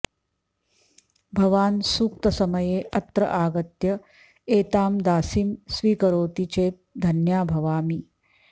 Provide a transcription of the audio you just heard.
भवान् सूक्तसमये अत्र आगत्य एतां दासीं स्वीकरोति चेत् धन्या भवामि